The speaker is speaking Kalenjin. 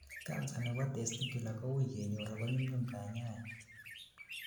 cancer nebo testicular kowuui kenyor ago nyumnyum kanyaet